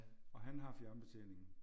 Og han har fjernbetjeningen